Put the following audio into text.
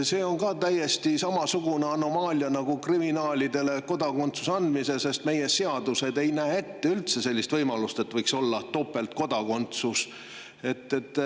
See on täiesti samasugune anomaalia nagu kriminaalidele kodakondsuse andmine, sest meie seadused ei näe üldse ette sellist võimalust, et inimesel võiks olla topeltkodakondsus.